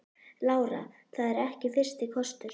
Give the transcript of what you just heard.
Lára: Það er ekki fyrsti kostur?